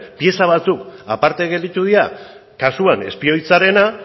pieza batzuk aparte gelditu dira kasuan espioitzarena